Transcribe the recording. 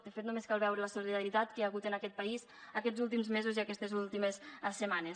de fet només cal veure la solidaritat que hi ha hagut en aquest país aquests últims mesos i aquestes últimes setmanes